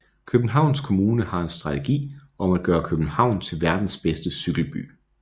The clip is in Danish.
Københavns Kommune har en strategi om at gøre København til verdens bedste cykelby